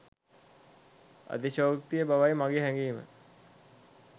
අතිශයෝක්තිය බවයි මාගේ හැගීම